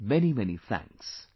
Many Many Thanks